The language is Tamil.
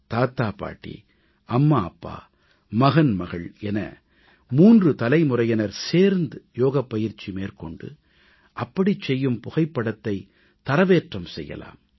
தாத்தா பாட்டி அம்மா அப்பா மகன் மகள் என 3 தலைமுறையினர் சேர்ந்து யோகப்பயிற்சி மேற்கொண்டு அப்படி செய்யும் புகைப்படத்தை தரவேற்றம் செய்யலாம்